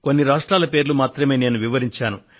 కొన్ని రాష్ట్రాల పేర్లు మాత్రమే నేను వివరించాను